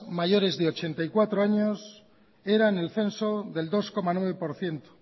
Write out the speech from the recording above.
mayores de ochenta y cuatro años era en el censo del dos coma nueve por ciento